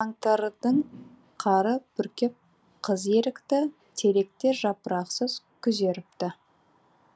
қаңтардың қары бүркеп қыз ерікті теректер жапырақсыз күзеріпті